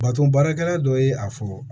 Baton baarakɛla dɔ ye a fɔ